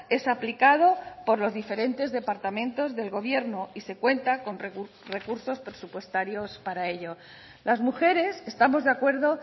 es aplicado por los diferentes departamentos del gobierno y se cuenta con recursos presupuestarios para ello las mujeres estamos de acuerdo